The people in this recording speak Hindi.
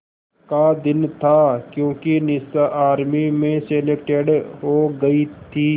का दिन था क्योंकि निशा आर्मी में सेलेक्टेड हो गई थी